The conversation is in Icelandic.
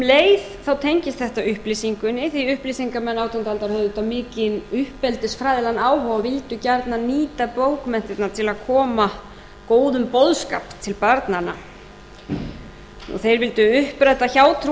leið þá tengist þetta upplýsingunni því upplýsingarmenn átjándu aldarinnar höfðu auðvitað mikinn uppeldisfræðilegan áhuga og vildu gjarnan nýta bókmenntirnar til að koma góðum boðskap til barnanna og þeir vildu uppræta hjátrú og